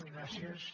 gràcies